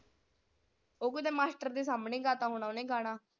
ਉਹ ਕਿਤੇ ਮਾਸਟਰ ਦੇ ਸਾਮਣੇ ਗਾਤ ਹੋਣਾ ਓਹਨੇ ਗਾਣਾ।